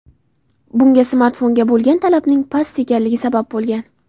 Bunga smartfonga bo‘lgan talabning past ekanligi sabab bo‘lgan.